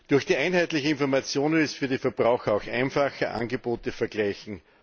Durch die einheitliche Information wird es für die Verbraucher auch einfacher, Angebote zu vergleichen.